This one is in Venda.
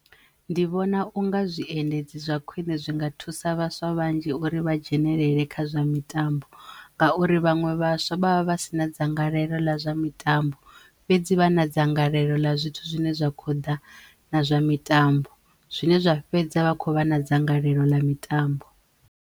Ndi vhona unga zwiendedzi zwa khwiṋe zwi nga thusa vhaswa vhanzhi uri vha dzhenelele kha zwa mitambo ngauri vhanwe vhaswa vha vha vha si na dzangalelo ḽa zwa mitambo fhedzi vha na dzangalelo ḽa zwithu zwine zwa kho ḓa na zwa mitambo zwine zwa fhedza vha khou vha na dzangalelo ḽa mitambo.